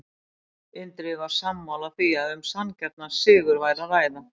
Indriði var sammála því að um sanngjarnan sigur var að ræða.